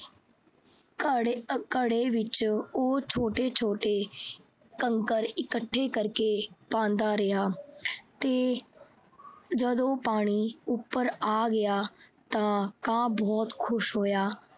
ਘੜੇ ਅਹ ਘੜੇ ਵਿੱਚ ਉਹ ਛੋਟੇ-ਛੋਟੇ ਕੰਕਰ ਇੱਕਠੇ ਕਰਕੇ ਪਾਉਂਦਾ ਰਿਹਾ ਤੇ ਜਦੋਂ ਪਾਣੀ ਉਪਰ ਆ ਗਿਆ ਤਾਂ ਕਾਂ ਬਹੁਤ ਖੁਸ਼ ਹੋਇਆ।